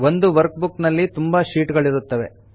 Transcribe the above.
ಒಂದು workbook ನಲ್ಲಿ ತುಂಬಾ ಶೀಟ್ ಗಳಿರುತ್ತವೆ